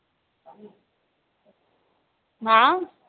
मा